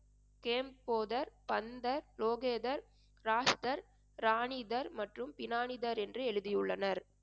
game போதர், பந்தர், லோகேதர், ராஷ்தர், ராணிதர் மற்றும் பினானிதர் என்று எழுதியுள்ளனர்